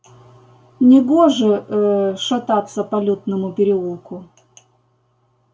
негоже э-э шататься по лютному переулку